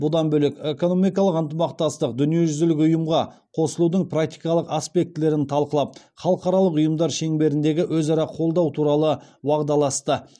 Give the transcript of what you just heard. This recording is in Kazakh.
бұдан бөлек экономикалық ынтымастық дүниежүзілік ұйымға қосылудың практикалық аспектілерін талқылап халықаралық ұйымдар шеңберіндегі өзара қолдау туралы уағдаласты